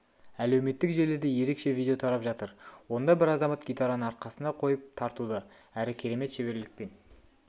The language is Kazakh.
әлеуметтік желіде ерекше видео тарап жатыр онда бір азамат гитараны арқасына қойып тартуда әрі керемет шеберлікпен